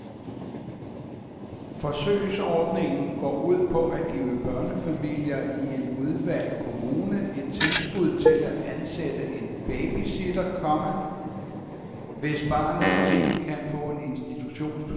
Forsøgsordningen går ud på at give børnefamilier i en udvalgt kommune et tilskud til at ansætte en babysitter, komma hvis barnet ikke kan få en institutionsplads. punktum